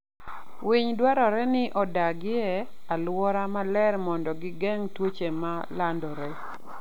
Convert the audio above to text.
Winy dwarore ni odag e alwora maler mondo gigeng' tuoche ma landore.